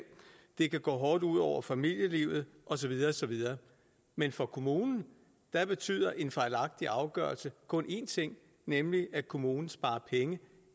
det kan gå hårdt ud over familielivet og så videre og så videre men for kommunen betyder en fejlagtig afgørelse kun én ting nemlig at kommunen sparer penge